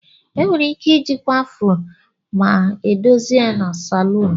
Enwere ike ijikwa Afro ma edozi ya na salon.